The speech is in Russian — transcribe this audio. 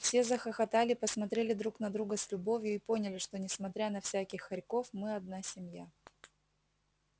все захохотали посмотрели друг на друга с любовью и поняли что несмотря на всяких хорьков мы одна семья